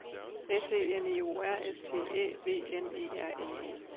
S E N I O R S T Æ V N E R N E